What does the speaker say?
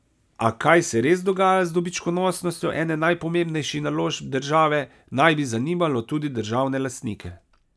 A, kaj se res dogaja z dobičkonosnostjo ene najpomembnejših naložb države, naj bi zanimalo tudi državne lastnike.